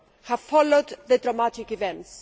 have followed the dramatic events.